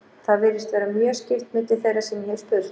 Það virðist vera mjög skipt milli þeirra sem ég hef spurt.